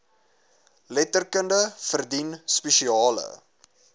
letterkunde verdien spesiale